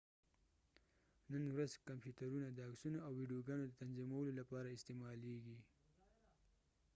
نن ورځ کمپوترونه د عکسونو او ویدیوګانو د تنظیمولو لپاره استعمالیږي